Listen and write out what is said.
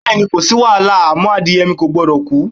Bé̩è̩ni, ko sí wàhálà àmó̩ adìye̩ mi kò gbo̩dò̩ kú.